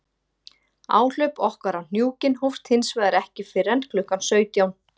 Áhlaup okkar á hnúkinn hófst hins vegar ekki fyrr en klukkan sautján.